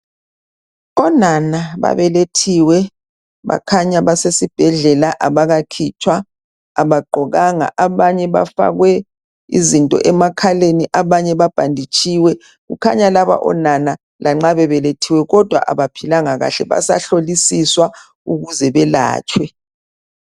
Onana babelethiwe bakhanya basesibhedlela abakakhitshwa, abagqokanga .Abanye bafakwe izinto emakhaleni ,abanye babhanditshiwe .Kukhanya laba onana lanxa bebelethiwe kodwa abaphilanga kahle basahlolisiswa ukuze belatshwe.